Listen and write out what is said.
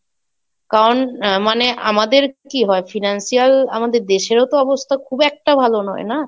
কারণ মানে আমাদের কি হয় Financial আমাদের দেশেরও তো অবস্থা খুব একটা ভালো নয় না,